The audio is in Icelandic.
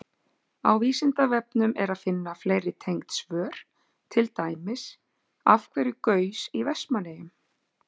Á Vísindavefnum er að finna fleiri tengd svör, til dæmis: Af hverju gaus í Vestmannaeyjum?